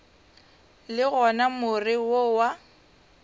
le gona more wo wa